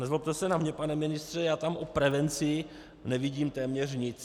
Nezlobte se na mě, pane ministře, já tam o prevenci nevidím téměř nic.